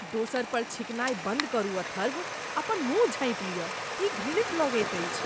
दोसर पर छींकनाय बन्द करू अथर्व। अपन मुँह झाँपि लिअ। ई घृणित लगैत अछि।